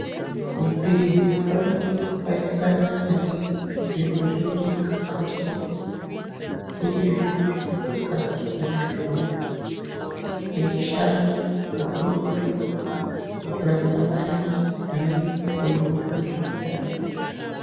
Maphirizi amweni anengana ane zviro zvinowanikwa mukati mwawo, zviri zviro zvaakagadzirwa ndizvona eishanda kakurutu kurapa vayani vanenge vane maronda mundani.